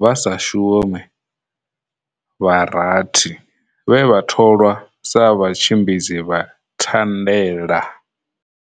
vha sa shumi vha rathi vhe vha tholwa sa Vhatshi mbidzi vha Thandela.